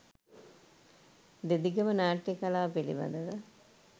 දෙදිගම නාට්‍ය කලාව පිළිබඳව